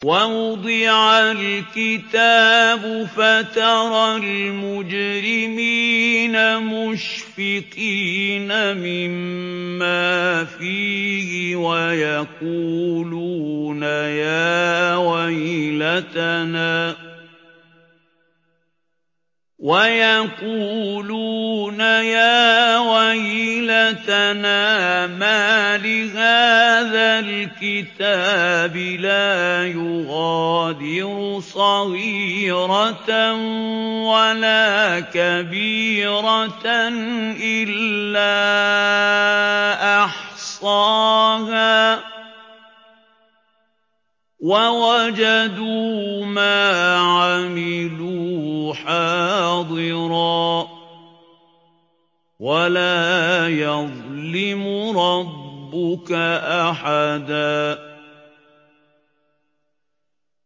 وَوُضِعَ الْكِتَابُ فَتَرَى الْمُجْرِمِينَ مُشْفِقِينَ مِمَّا فِيهِ وَيَقُولُونَ يَا وَيْلَتَنَا مَالِ هَٰذَا الْكِتَابِ لَا يُغَادِرُ صَغِيرَةً وَلَا كَبِيرَةً إِلَّا أَحْصَاهَا ۚ وَوَجَدُوا مَا عَمِلُوا حَاضِرًا ۗ وَلَا يَظْلِمُ رَبُّكَ أَحَدًا